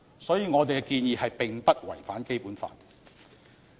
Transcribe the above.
所以，我們的建議並不違反《基本法》。